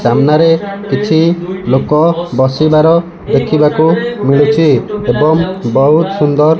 ସାମ୍ନାରେ କିଛି ଲୋକ ବସିବାର ଦେଖିବାକୁ ମିଳୁଚି ଏବଂ ବୋହୁତ୍ ସୁନ୍ଦର୍ --